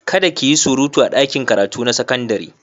Kada ki yi surutu a ɗakin karatu na sakandare.